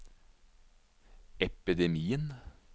epidemien